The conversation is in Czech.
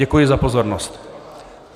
Děkuji za pozornost.